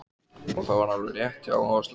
Og það var alveg rétt hjá Áslaugu.